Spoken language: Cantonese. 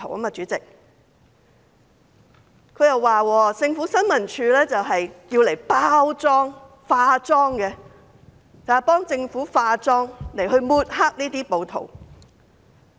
陳議員還說新聞處的職責是替政府"化妝"，用來抹黑暴徒。